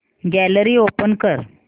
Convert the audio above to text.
gallery open कर